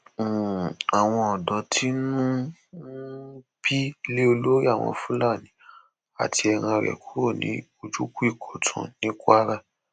um àwọn ọdọ tínú ń um bí lé olórí àwọn fúlàní àti ẹran rẹ kúrò ní ojúkùìkọtun ní kwara